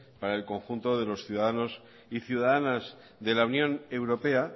para el conjunto de los ciudadanos y ciudadanas de la unión europea